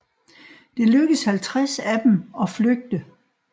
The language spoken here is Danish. Det lykkes 50 af dem at flygte